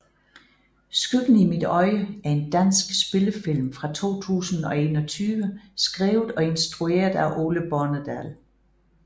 Skyggen i mit øje er en dansk spillefilm fra 2021 skrevet og instrueret af Ole Bornedal